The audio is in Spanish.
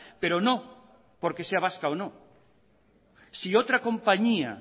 pero no porque sea vasca o no si otra compañía